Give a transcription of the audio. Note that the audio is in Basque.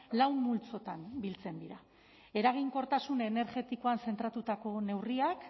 lau multzotan biltzen dira eraginkortasun energetikoan zentratutako neurriak